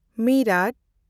ᱢᱤᱨᱟᱴ